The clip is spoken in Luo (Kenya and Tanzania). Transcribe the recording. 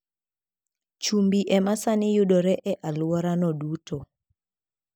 Chumbi ema sani yudore e alworano duto.